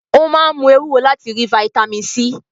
Ó máa ń mú ewúro láti rí fataímìn C.